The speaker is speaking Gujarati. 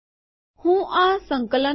હું આ સંકલન કરું